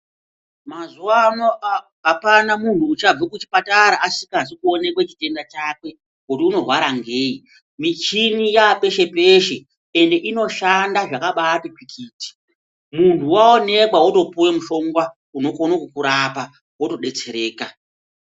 Mazuwaano a apana munhu uchabve kuchipatara asikazi kuonekwe chitenda chakwe, kuti unorwara ngeyi. Michini yaapeshe-peshe ,ende inoshanda zvakabaati tsvikiti. Munhu waaonekwa wotopuwe muhlongwa unokone kukurapa, wotodetsereka.